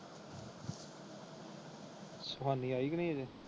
ਸੋਹਣੀ ਆਈ ਵੀ ਨਹੀਂ ਅੱਜੇ।